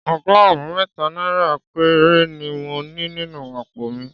Ọgọ́rùn-ún mẹ́ta náírà péré ni mo ní nínú àpò mi